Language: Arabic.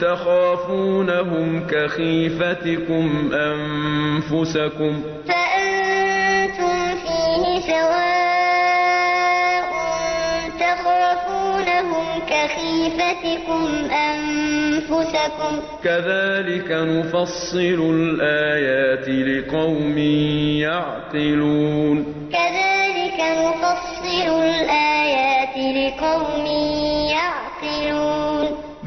تَخَافُونَهُمْ كَخِيفَتِكُمْ أَنفُسَكُمْ ۚ كَذَٰلِكَ نُفَصِّلُ الْآيَاتِ لِقَوْمٍ يَعْقِلُونَ ضَرَبَ لَكُم مَّثَلًا مِّنْ أَنفُسِكُمْ ۖ هَل لَّكُم مِّن مَّا مَلَكَتْ أَيْمَانُكُم مِّن شُرَكَاءَ فِي مَا رَزَقْنَاكُمْ فَأَنتُمْ فِيهِ سَوَاءٌ تَخَافُونَهُمْ كَخِيفَتِكُمْ أَنفُسَكُمْ ۚ كَذَٰلِكَ نُفَصِّلُ الْآيَاتِ لِقَوْمٍ يَعْقِلُونَ